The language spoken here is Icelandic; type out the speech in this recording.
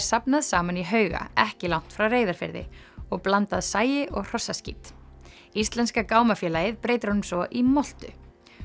safnað saman í hauga ekki langt frá Reyðarfirði og blandað sagi og hrossaskít íslenska gámafélagið breytir honum svo í moltu